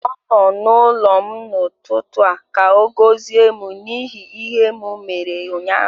Ọ nọ n'ụlọ m n'ụtụtụ a ka ọ gọzie m n'ihi ihe m mere ụnyaahụ